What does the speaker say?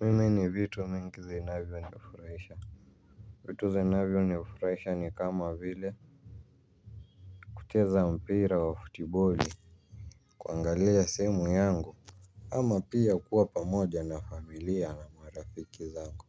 Mimi ni vitu mingi zinavyonifurahisha. Vitu zinavyonifurahisha ni kama vile kucheza mpira wa futiboli kuangalia simu yangu ama pia kuwa pamoja na familia na marafiki zangu.